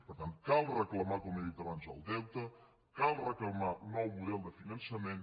per tant cal reclamar com he dit abans el deute cal reclamar un nou model de finançament